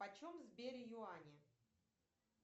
почем в сбере юани